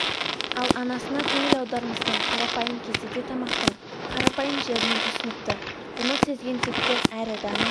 ал анасына көңіл аудармастан қарапайым кеседе тамақтың қарапайым жерінен ұсыныпты бұны сезген текті әрі дана